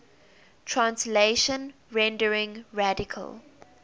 translation rendering radical